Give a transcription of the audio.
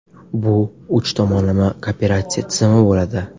Bu uch tomonlama kooperatsiya tizimi bo‘ladi.